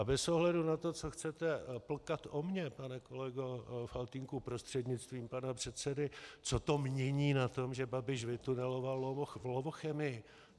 A bez ohledu na to, co chcete plkat o mně, pane kolego Faltýnku prostřednictvím pana předsedy, co to mění na tom, že Babiš vytuneloval Lovochemii?